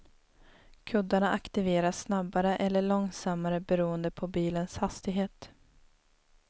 Kuddarna aktiveras snabbare eller långsammare beroende på bilens hastighet.